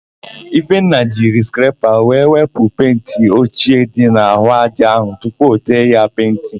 Ifenna jiri skrepa wee wepụ penti ochie dị n'àhụ́ ájá áhụ̀ tupu o tee ya penti.